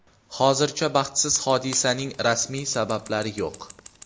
Hozircha baxtsiz hodisaning rasmiy sabablari yo‘q.